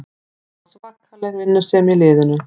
Það var svakaleg vinnusemi í liðinu